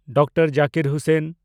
doctor Zakir Hussain